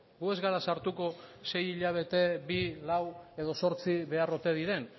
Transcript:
gu ez gara sartuko sei hilabete bi lau edo zortzi behar ote diren